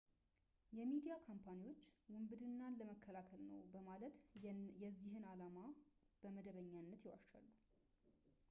የሚዲያ ካምፓኒዎች ውንብድናን ለመከላከል ነው በማለት የዚህን ዓላማ በመደበኛነት ይዋሻሉ